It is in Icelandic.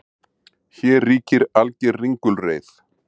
Hér ríkir alger ringulreið